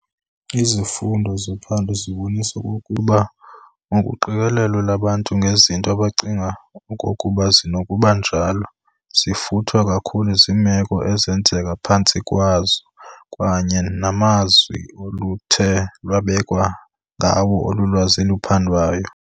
Izifundo zophando zibonisa okokuba ukuqikelela kwabantu ngezinto abacinga okokuba zisenokuba njalo, zifuthwa kakhulu ziimeko ezenzeka phantsi kwazo kwakunye namazwi oluthe lwabekwa ngawo olo lwazi luphandiweyo.